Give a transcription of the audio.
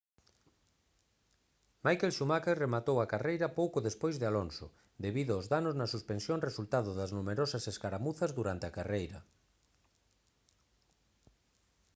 michael schumacher rematou a carreira pouco despois de alonso debido aos danos na suspensión resultado das numerosas escaramuzas durante a carreira